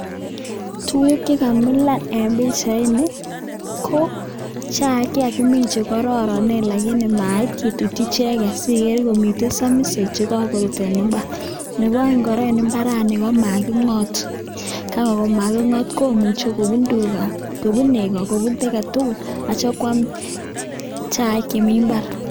Tuguuk chekamilan en pichaini ko chaik chekakimin chekororonen lakini mait kitutyii icheget sikere komiten somisoo chekokoruut en imbar, Nebo oeng en imbarani komakingoot, koyon makingoot komuche kobuun tugaa kobuun negoo anan KO kiy agetugul yeityoo koam chaik chemi imbar